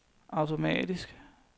automatisk